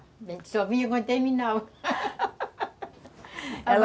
A gente só vinha quando terminava